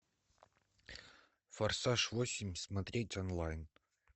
форсаж восемь смотреть онлайн